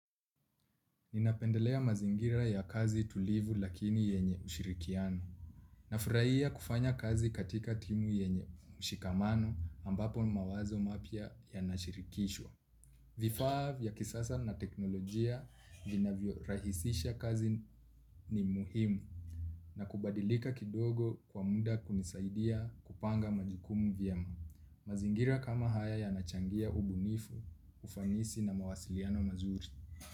Ninapendelea mazingira ya kazi tulivu lakini yenye ushirikiano. Nafurahia kufanya kazi katika timu yenye mshikamano ambapo mawazo mapya yanashirikishwa. Vifaa vya kisasa na teknolojia vinavyo rahisisha kazi ni muhimu. Na kubadilika kidogo kwa muda kunisaidia kupanga majukumu vyema. Mazingira kama haya yanachangia ubunifu ufanisi na mawasiliano mazuri.